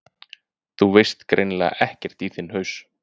ÞÚ VEIST GREINILEGA EKKERT Í ÞINN HAUS!